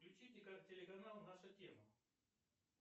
включи телеканал наша тема